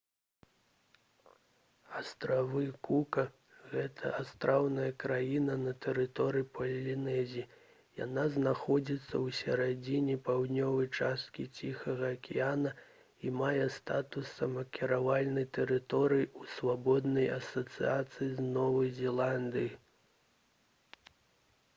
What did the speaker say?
астравы кука гэта астраўная краіна на тэрыторыі палінезіі яна знаходзіцца ў сярэдзіне паўднёвай часткі ціхага акіяна і мае статус самакіравальнай тэрыторыі ў свабоднай асацыяцыі з новай зеландыяй